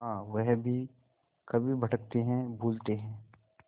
हाँ वह भी कभी भटकते हैं भूलते हैं